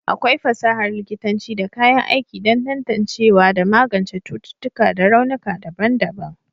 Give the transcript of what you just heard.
akwai fasahar likitanci da kayan aiki don tantancewa da magance cututtuƙa da raunuka daban-daban